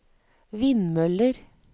vindmøller